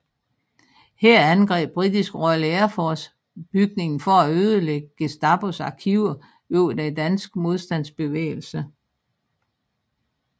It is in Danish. Her angreb britiske Royal Air Force bygningen for at ødelægge Gestapos arkiver over den danske modstandsbevægelse